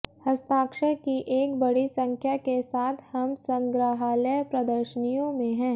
हस्ताक्षर की एक बड़ी संख्या के साथ हम संग्रहालय प्रदर्शनियों में है